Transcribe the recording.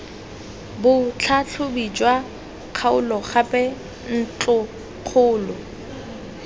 botlhatlhobi jwa kgaolo gape ntlokgolo